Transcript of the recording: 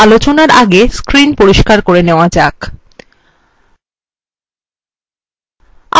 পরের আলোচনা আগে screen পরিস্কার করে নেওয়া যাক